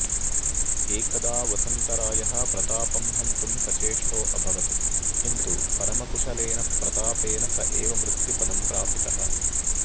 एकदा वसन्तरायः प्रतापं हन्तुं सचेष्टोऽभवत् किन्तु परमकुशलेन प्रतापेन स एव मृत्युपदं प्रापितः